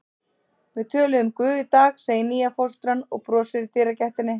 Við töluðum um Guð í dag, segir nýja fóstran og brosir í dyragættinni.